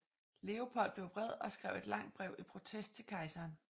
Leopold blev vred og skrev et langt brev i protest til kejseren